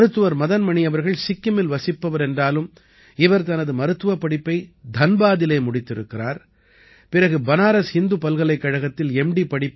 மருத்துவர் மதன் மணி அவர்கள் சிக்கிமில் வசிப்பவர் என்றாலும் இவர் தனது மருத்துவப்படிப்பை தன்பாதிலே முடித்திருக்கிறார் பிறகு பனாரஸ் ஹிந்து பல்கலைக்கழகத்தில் எம்